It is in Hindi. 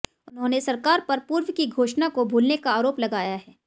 उन्होंने सरकार पर पूर्व की घोषणा को भूलने का आरोप लगाया है